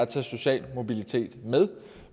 tage social mobilitet med